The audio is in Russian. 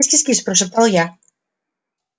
кис-кис-кис прошептал я